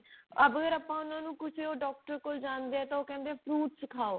ਅਬ ਅਗਰ ਆਪਾਂ ਉਹਨਾਂ ਨੂੰ ਕੁਛ ਉਹ doctor ਕੋਲ ਜਾਂਦੀਆਂ ਉਹ ਕਿਹੰਦੇ ਆ fruits ਖਾਓ